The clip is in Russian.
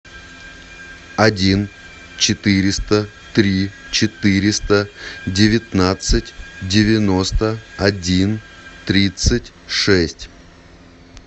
один четыреста три четыреста девятнадцать девяносто один тридцать шесть